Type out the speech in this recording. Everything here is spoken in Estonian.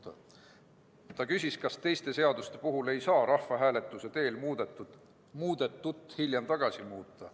Lauri Läänemets küsis, kas teiste seaduste puhul ei saa rahvahääletuse teel muudetut hiljem tagasi muuta.